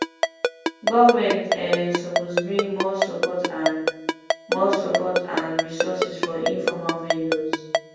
government um suppose bring more support and more support and resources for informal vendors